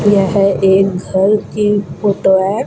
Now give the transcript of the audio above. यह एक घर की फोटो है।